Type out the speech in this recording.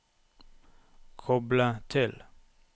koble til